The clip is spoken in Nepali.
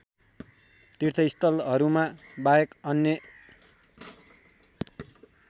तीर्थस्थलहरूमा बाहेक अन्य